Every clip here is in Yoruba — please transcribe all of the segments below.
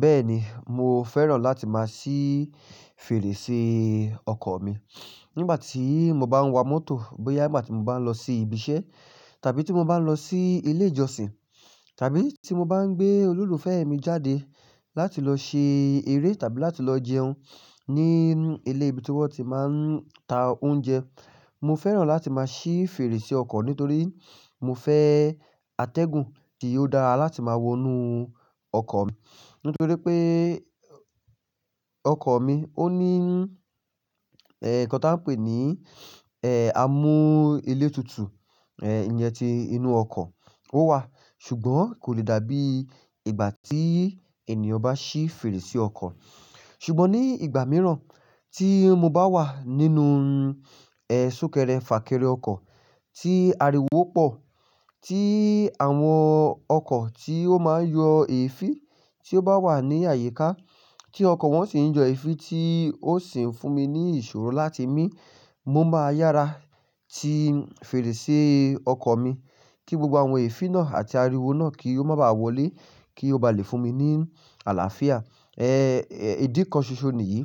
Bẹ́ẹ̀ni, mo fẹ́ràn láti máa sí fèrèsé ọkọ̀ mi nígbà tí mo bá ń wa mọ́tò bóyá nígbà tí mo bá ń lọ sí ibiṣẹ́ tàbí tí mo bá ń lọ sí ilé ìjọsìn tàbí tí mo bá ń gbé olólùfẹ́ mi jáde láti lọ ṣe eré tàbí láti lọ jẹun ní ilé ibi tí wọ́n ti máa ń ta oúnjẹ. Mo fẹ́ràn láti máa sí fèrèsé ọkọ̀ nítorí mo fẹ́ atẹ́gùn tí yóò dára láti máa wọnú ọkọ̀ mi. Nítorí pé ọkọ̀ mi ó ní ẹ̀, nǹkan tí a ń pè ní, ẹ́, amú elétutu, ẹ́, iye tí inú ọkọ̀ ó wà, ṣùgbọ́n kò lè dàbí ìgbà tí ènìyàn bá ṣí fèrèsé ọkọ̀. Ṣùgbọ́n ní ìgbà mìíràn tí mo bá wà nínú, ẹ́, súnkẹrẹ fàkẹrẹ ọkọ̀, tí ariwo pọ̀, tí àwọn ọkọ̀ tí ó máa ń yọ èéfín tí ó bá wà ní àyíká, tí ọkọ̀ wọ́n sì ń jọ èéfín tí ó sì ń fún mi ní ìṣòro láti mi, mo máa yára ti fèrèsé ọkọ̀ mi kí gbogbo àwọn èéfín náà àti ariwo náà kí ó máa wọlé, kí ó ba lè fún mi ní àlàáfíà. Ẹ́, ìdí kan ṣoṣo nìyí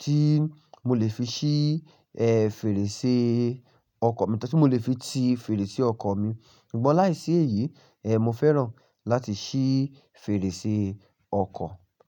tí mo lè fi ṣí, ẹ́, fèrèsé ọkọ̀ mi, tàbí tí mo lè fi ti fèrèsé ọkọ̀ mi. Ṣùgbọ́n láìsí èyí, ẹ́, mo fẹ́ràn láti ṣí fèrèsé ọkọ̀.